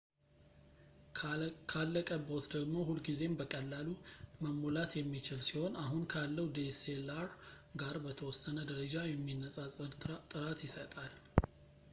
ካለቀብዎት ደግሞ ሁልጊዜም በቀላሉ መሞላት የሚችል ሲሆን አሁን ካለው dslr ጋር በተወሰነ ደረጃ የሚነፃፀር ጥራት ይሰጣል